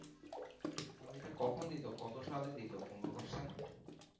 ও ওইটা কখন দিত কত সালে দিতো পনোরো persent